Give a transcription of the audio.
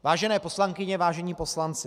Vážené poslankyně, vážení poslanci.